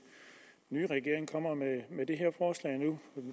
nye regering kommer med